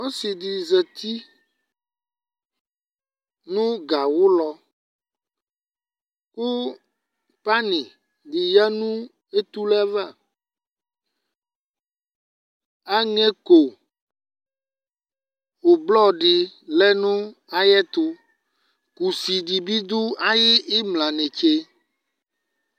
Ɔsi di zati nu gawu lɔ Ku pani ɔya netule ava Aŋɛko ublɔr di lɛ nayɛtu Kusi dibi du ayu imla netse